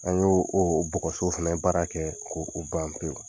An y'o o bɔgɔso fana baara kɛ k'o ban pewu